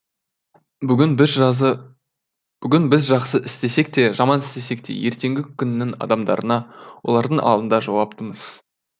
бүгін біз жақсы істесек те жаман істесек те ертеңгі күннің адамдарына олардың алдында жауаптымыз